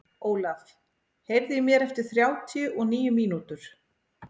Ólaf, heyrðu í mér eftir þrjátíu og níu mínútur.